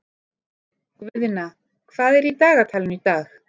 Guðna, hvað er í dagatalinu í dag?